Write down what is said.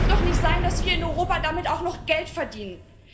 Es darf doch nicht sein, dass wir in Europa damit auch noch Geld verdienen.